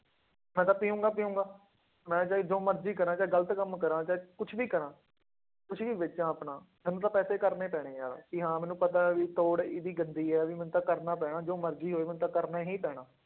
ਮੈਂ ਤਾਂ ਪੀਊਂਗਾ ਪੀਊਂਗਾ, ਮੈਂ ਚਾਹੇ ਜੋ ਮਰਜ਼ੀ ਕਰਾਂ ਚਾਹੇ ਗ਼ਲਤ ਕੰਮ ਕਰਾਂ ਚਾਹੇ ਕੁਛ ਵੀ ਕਰਾਂ ਕੁਛ ਵੀ ਵੇਚਾਂ ਆਪਣਾ, ਮੈਨੂੰ ਤਾਂ ਪੈਸੇ ਕਰਨੇ ਪੈਣੇ ਆਂ ਕਿ ਹਾਂ ਮੈਨੂੰ ਪਤਾ ਹੈ ਵੀ ਤੋੜ ਇਹਦੀ ਗੰਦੀ ਹੈ ਵੀ ਮੈਨੂੰ ਤਾਂ ਕਰਨਾ ਪੈਣਾ ਜੋ ਮਰਜ਼ੀ ਹੋਏ ਮੈਨੂੰ ਤਾਂ ਕਰਨਾ ਹੀ ਪੈਣਾ।